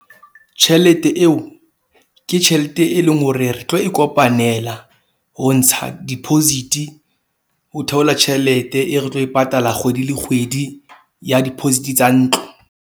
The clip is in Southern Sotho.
Tjhelete eo ke tjhelete, e leng hore re tlo e kopanela ho ntsha deposit, ho theola tjhelete e re tlo e patala kgwedi le kgwedi ya deposit-i tsa ntlo.